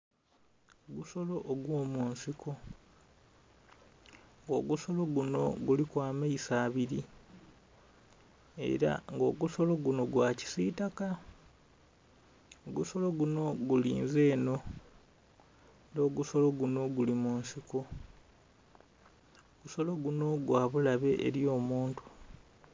Ogusolo ogwo musiko, ogusolo gunho guliku amaiso abili era nga ogusolo gunho gwa kisitaka, ogusolo gunho ogulinze enho era ogusolo gunho guli munsiko, ogusolo gunho gwa bulabe eli omuntu.